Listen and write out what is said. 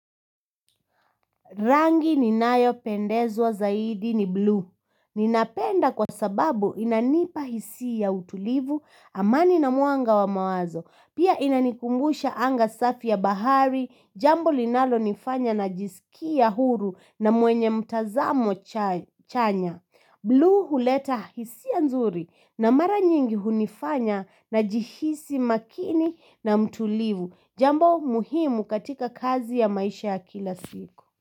Rangi ninayo pendezwa zaidi ni blue. Ninapenda kwa sababu inanipa hisia ya utulivu, amani na mwanga wa mawazo. Pia inanikumbusha anga safi ya bahari, jambo linalo nifanya najisikia huru na mwenye mtazamo chanya. Blue huleta hisia nzuri na mara nyingi hunifanya najihisi makini na mtulivu. Jambo muhimu katika kazi ya maisha ya kila siku.